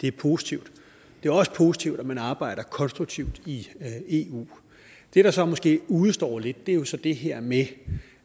er positivt det er også positivt at man arbejder konstruktivt i eu det der så måske udestår lidt er jo så det her med